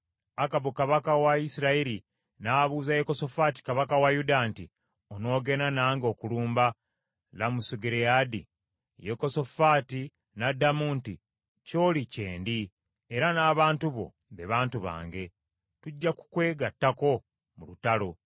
Akabu kabaka wa Isirayiri n’abuuza Yekosafaati kabaka wa Yuda nti, “Onoogenda nange okulumba Lamosugireyaadi?” Yekosafaati n’addamu nti, “Ky’oli kye ndi, era n’abantu bo be bantu bange, tujja kukwegattako mu lutalo.”